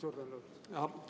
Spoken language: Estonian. Suur tänu!